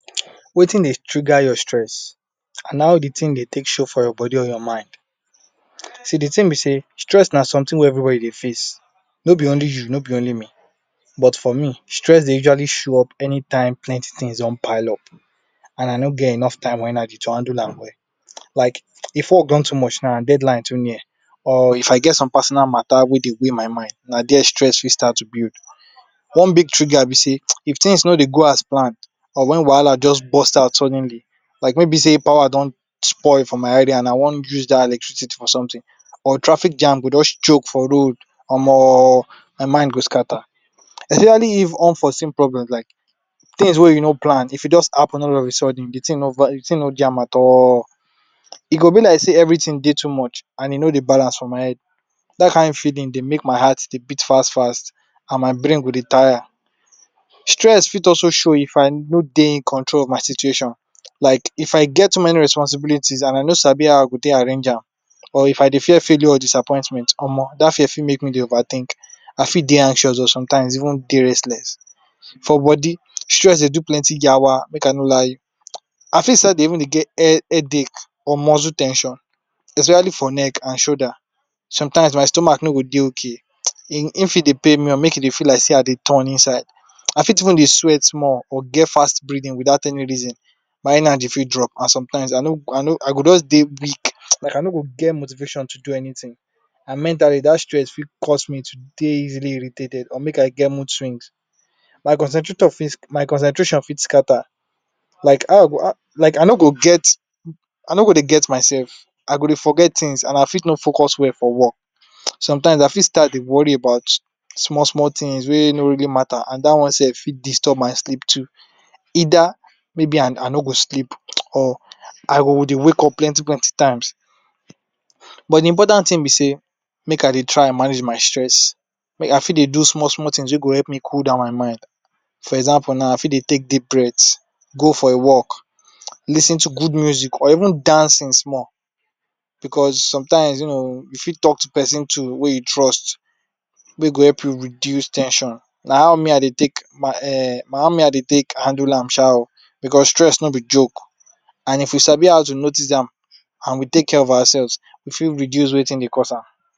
Wetin Dey trigger your stress and how de thing Dey take show for your body or for your mind see de thing b sey stress na something wey everybody dey face no be only you no be only me but for me stress Dey usually show up anytime plenty things don pile up and I no get enough time and energy to handle am well like if work done too much now and dead line too near or if I get some personal matta wey Dey weigh my mind dai stress fit start to build one big trigger be sey if things no Dey go as planned or when wahala just burst out suddenly like no be sey power don spoil for my area now and I wan bin wan use dat electricity for something or traffic jam go just choke for road omo my mind just scatter especially if unforseen problems like things wey you no plan if e just happen all of a sudden de thing no jam at all e go be like sey everything Dey too much and e no Dey balance for my head da kin feeling Dey make my heart Dey beat fast fast and my brain go Dey tire stress fit also show if I no Dey fool control of a situation like if I get one responsibility and I no no how I go take arrange am or if I Dey face failure or disappointment omo dat fear fit make me Dey over think I fit Dey anxious or sometimes Dey restless for body stree Dey do plenty Yawa I fit start Dey even get headache or muscle ten sion especially for neck and shoulder sometimes my stomach no go Dey okay im fit Dey pain me or make e fell like sey I Dey turn inside I fit start Dey sweat small small or get fast breathing without any reason my energy fit drop or sometimes I go just Dey weak like I no go get motivation to do anything and mentally dat stress fit cause me to Dey easily irritated or make I get mode swings my concentration fut scatter like I no go Dey get myself I go Dey forget things and I fit no focus well for work sometimes I fit start Dey worry about small small things wey no really matter and dat one sef fit disturb my sleep too ether maybe I no go sleep or I go Dey wake up plenty plenty times but de important thing b sey make I Dey try manage my stress make I fit Dey do small small things wey go Dey cool down my mind for example now I fit Dey take deep breath go for a walk lis ten to good music or even dancing small because sometimes you know you fit talk to person wey you trust wey go help you reduce ten sion na how me I Dey take handle am shaa ooo because stress no be joke and if you sabi how to notice am and we take care of ourselves we fit reduce wetin Dey course am.